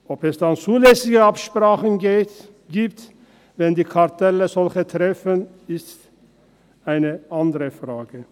Ob es dann zulässige Absprachen gibt, wenn die Kartelle solche treffen, ist eine andere Frage.